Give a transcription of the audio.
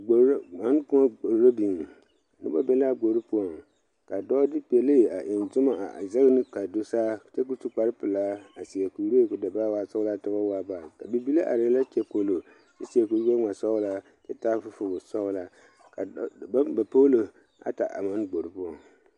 Koɔ poɔ gbori a biŋ, noba be la a gbori poɔŋ ka de pele a eŋ Zuma a zage nu kaa do saa, kyɛ kɔ su kpare pɛlaa a seɛ kuree kɔ da boɔ kɔ waa sɔglaa kyɛ ba waa baare bibile. are la a seɛ kuri gbɛɛ ŋmaa sɔglaa kyɛ taa fofowɔ sɔglaa baŋ ba polo ata a gbori poɔ.